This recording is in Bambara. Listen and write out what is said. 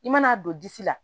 I mana don disi la